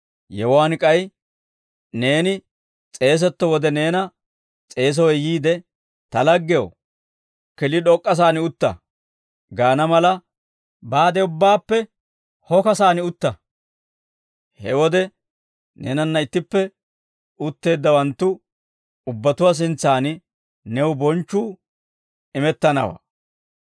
Yewuwaan k'ay neeni s'eeseetto wode neena s'eesowe yiide, ‹Ta laggew, killi d'ok'k'asaan utta› gaana mala, baade ubbaappe hokasaan utta; he wode neenanna ittippe utteeddawanttu ubbatuwaa sintsan new bonchchuu imettanawaa;